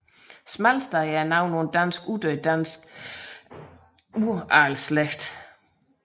Smalsted er navnet på en dansk uddød dansk uradelsslægt